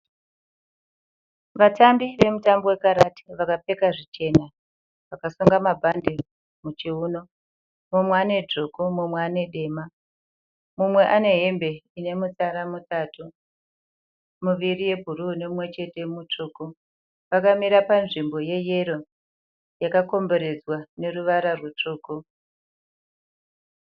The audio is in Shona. Vatambi vemutambo wekarati vakapfeka zvichena. Vakasunga mabhande muchivuno, mumwe anedzvuku mumwe anedema. Mumwe ane hembe inemutsara mutatu, muviri yebhuruu nemumwechete mutsvuku. Vakamira panzvimbo yeyero yakakomberedzwa neruvara rutsvuku.